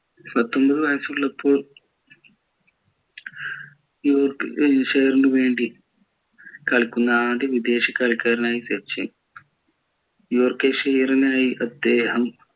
പത്തൊമ്പത് വയസുള്ളപ്പോൾ നു വേണ്ടി കളിക്കുന്ന ആദ്യ വിദേശ കളിക്കാരനായി സച്ചിൻ നായി അദ്ദേഹം